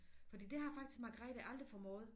Fordi det har faktisk Margrethe aldrig formået